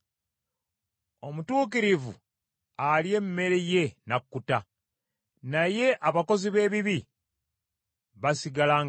Omutuukirivu alya emmere ye n’akkuta, naye abakozi b’ebibi basigala nga bayala.